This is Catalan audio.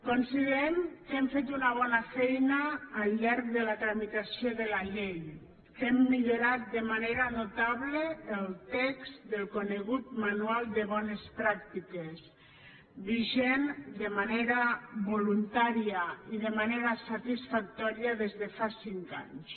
considerem que hem fet una bona feina al llarg de la tramitació de la llei que hem millorat de manera notable el text del conegut manual de bones pràctiques vigent de manera voluntària i de manera satisfactòria des de fa cinc anys